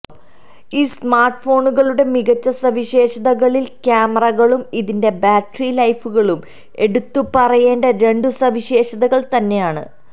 ഈ സ്മാർട്ട് ഫോണുകളുടെ മികച്ച സവിശേഷതകളിൽ ക്യാമറകളും ഇതിന്റെ ബാറ്ററി ലൈഫുകളും എടുത്തുപറയേണ്ട രണ്ടു സവിശേഷതകൾ തന്നെയാണ്